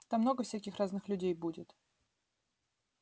там много всяких разных людей будет